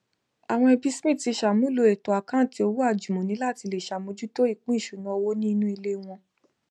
àwọn ẹbí smith ti ṣàmúlò ètò àkántì owó àjùmọni láti lè ṣàmójútó ìpín ìṣúná owó ní inú ilé wọn